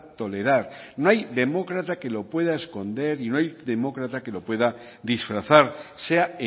tolerar no hay demócrata que lo pueda esconder y no hay demócrata que lo pueda disfrazar sea